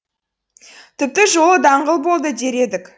тіпті жолы даңғыл болды дер едік